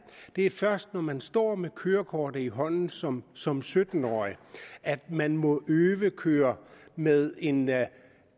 det er først når man står med kørekortet i hånden som som sytten årig at man må øvekøre med en